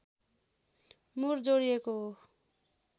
मुर जोडिएको हो